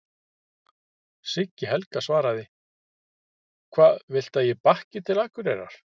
Siggi Helga svaraði: Hvað viltu að ég bakki til Akureyrar?